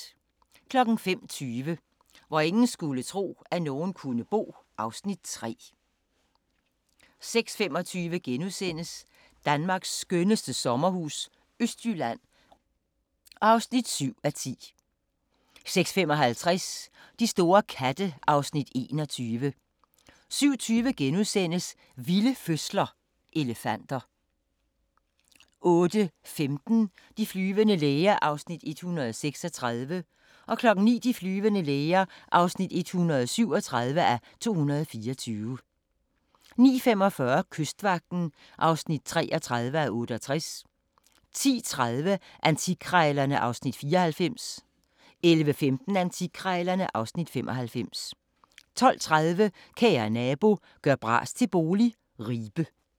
05:20: Hvor ingen skulle tro, at nogen kunne bo (Afs. 3) 06:25: Danmarks skønneste sommerhus - Østjylland (7:10)* 06:55: De store katte (Afs. 21) 07:20: Vilde fødsler - elefanter * 08:15: De flyvende læger (136:224) 09:00: De flyvende læger (137:224) 09:45: Kystvagten (33:68) 10:30: Antikkrejlerne (Afs. 94) 11:15: Antikkrejlerne (Afs. 95) 12:30: Kære nabo – gør bras til bolig – Ribe